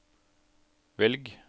velg